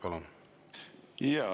Palun!